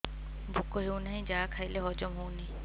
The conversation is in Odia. ଭୋକ ହେଉନାହିଁ ଯାହା ଖାଇଲେ ହଜମ ହଉନି